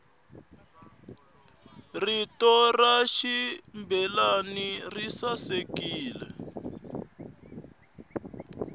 rito rancambileyi risasekile